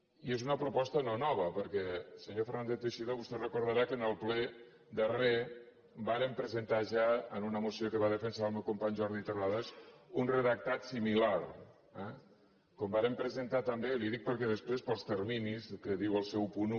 i és una proposta no nova perquè senyor fernández teixidó vostè deu recordar que en el ple darrer vàrem presentar ja en una moció que va defensar el meu company jordi terrades un redactat similar eh com vàrem presentar també li ho dic perquè després pels terminis que diu el seu punt un